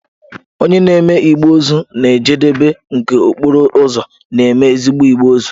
Onye na-eme igbe ozu na njedebe nke okporo ụzọ, na-eme ezigbo igbe ozu.